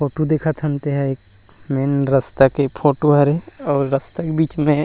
Photo देखत हन तेन ह रस्ता के फोटो हरे और रास्ता के बीच में।